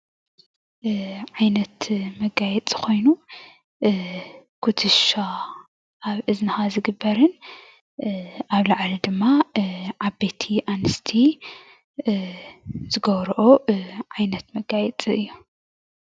ዓይነት መጋየፂ ኮይኑ ኩትሻ አብ እዝንካ ዝግበርን አብ ላዕሊ ድማ ዓበይቲ አንስቲ ዝገብርኦ ዓይነት መጋየፂ እዩ፡፡